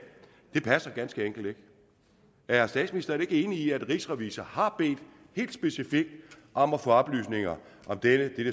passer ganske enkelt ikke er statsministeren ikke enig i at rigsrevisor har bedt helt specifikt om at få oplysninger om dette